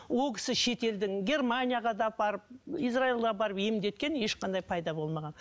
ол кісі шетелдің германияға да апарып израильға апарып емдеткен ешқандай пайда болмаған